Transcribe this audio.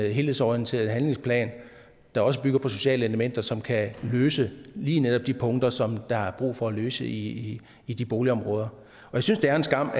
en helhedsorienteret handlingsplan der også bygger på sociale elementer som kan løse lige netop de punkter som der er brug for at løse i i de boligområder jeg synes det er en skam